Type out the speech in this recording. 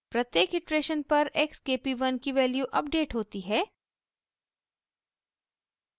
प्रत्येक इटरेशन पर x k p 1 की वैल्यू अपडेट होती है